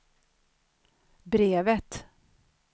brevet